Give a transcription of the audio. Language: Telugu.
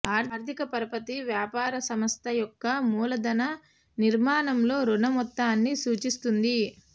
ఆర్థిక పరపతి వ్యాపార సంస్థ యొక్క మూలధన నిర్మాణంలో రుణ మొత్తాన్ని సూచిస్తుంది